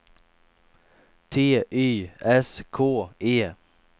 T Y S K E